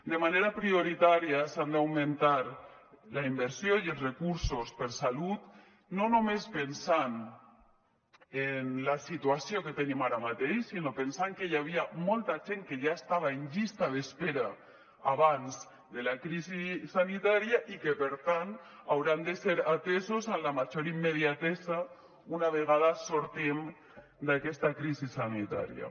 de manera prioritària s’han d’augmentar la inversió i els recursos per a salut no només pensant en la situació que tenim ara mateix sinó pensant que hi havia molta gent que ja estava en llista d’espera abans de la crisi sanitària i que per tant hauran de ser atesos en la major immediatesa una vegada sortim d’aquesta crisi sanitària